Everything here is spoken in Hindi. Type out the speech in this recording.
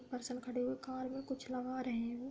पर्सन खड़े हुए हैं। कार में कुछ लगा रहे है वो।